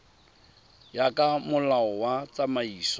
ya ka molao wa tsamaiso